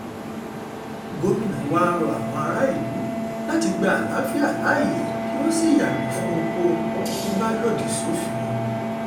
gomina wàá rọ àwọn aráàlú láti gba àlàáfíà láàyè kí wọ́n sì yàgò fún ohunkóhun tó bá lòdì sófin